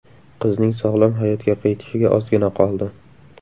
Qizning sog‘lom hayotga qaytishiga ozgina qoldi.